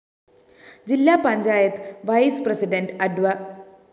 ജില്ലാ panchayat vice president അഡ്വ